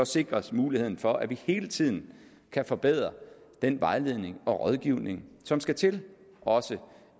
sikrer os muligheden for at vi hele tiden kan forbedre den vejledning og rådgivning som skal til også